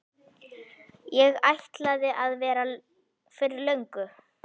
Ég ætlaði að vera fyrir löngu.